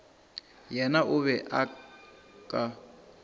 yena o be o ka